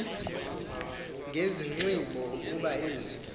ngezinxibo kuba ezi